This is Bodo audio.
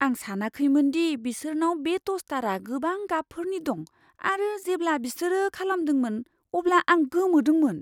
आं सानाखैमोनदि बिसोरनाव बे टस्टारा गोबां गाबफोरनि दं आरो जेब्ला बिसोर खालामदोंमोन अब्ला आं गोमोदोंमोन।